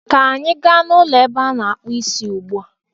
ka anyị gaa n'ụlọ ebe a na-akpụ Ịsị ugbu a!